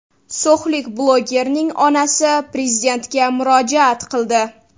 So‘xlik blogerning onasi Prezidentga murojaat qildi .